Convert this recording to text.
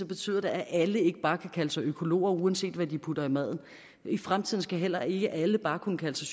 betyder det at alle ikke bare kan kalde sig økologer uanset hvad de putter i maden i fremtiden skal heller ikke alle bare kunne kalde